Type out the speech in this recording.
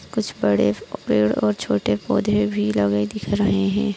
कुछ बड़े प पड़े और छोटे पौधे भी लगे दिख रहे है।